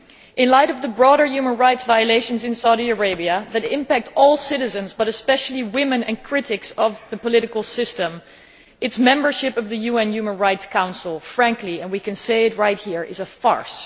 In light of the broader human rights violations in Saudi Arabia that impact all citizens, but especially women and critics of the political system, its membership of the UN Human Rights Council frankly, and we can say it right here, is a farce.